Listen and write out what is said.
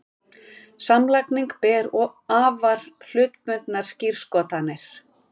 Samlagning ber afar hlutbundnar skírskotanir.